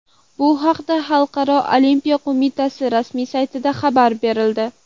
Bu haqda Xalqaro olimpiya qo‘mitasi rasmiy saytida xabar berildi .